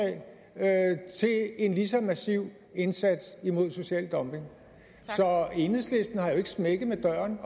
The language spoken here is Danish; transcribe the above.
en lige så massiv indsats imod social dumping så enhedslisten har jo ikke smækket med døren